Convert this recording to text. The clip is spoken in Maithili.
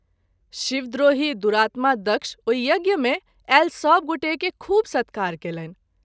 शिवद्रोही दुरातमा दक्ष ओहि यज्ञ मे आयल सभगोटे के खूब सत्कार कएलनि।